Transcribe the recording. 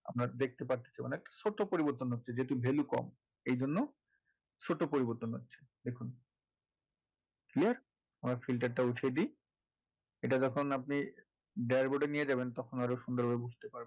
আমরা দেখতে পাচ্ছি অনেক ছোট্ট পরিবর্তন হচ্ছে যেটার value কম এই জন্য ছোট পরিবর্তন হচ্ছে দেখুন yes আমরা filter টা উঠিয়ে দিই এটা যখন আপনি dashboard এ নিয়ে যাবেন তখন আরো সুন্দর ভাবে বুঝতে পারবেন